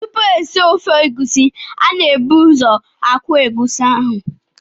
Tupu esie ofe egusi, a na-ebu ụzọ akwọ egusi ahụ.